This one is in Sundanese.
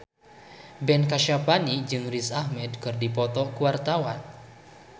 Ben Kasyafani jeung Riz Ahmed keur dipoto ku wartawan